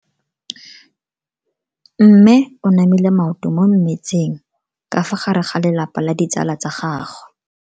Mme o namile maoto mo mmetseng ka fa gare ga lelapa le ditsala tsa gagwe.